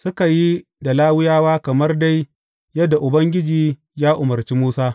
Suka yi da Lawiyawa kamar dai yadda Ubangiji ya umarci Musa.